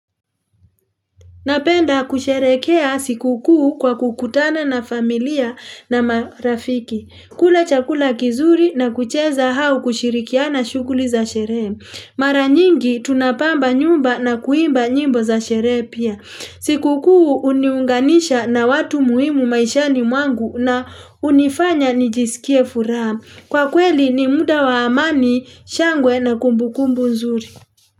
Napenda kusherekea siku kuu kwa kukutana na familia na marafiki. Kula chakula kizuri na kucheza hau kushirikiana shukuli za sherehe. Mara nyingi tunapamba nyumba na kuimba nyimbo za sherehe pia. Siku kuu uniunganisha na watu muhimu maishani mwangu na unifanya nijisikie furaha. Kwa kweli ni muda wa amani, shangwe na kumbukumbu nzuri.